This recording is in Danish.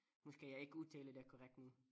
Måske jeg ikke udtaler det korrekt nu